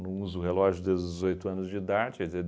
uso relógio desde os dezoito anos de idade, quer dizer